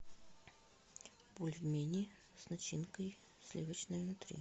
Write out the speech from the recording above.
бульмени с начинкой сливочной внутри